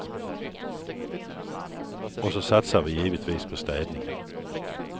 Och så satsar vi givetvis på städningen.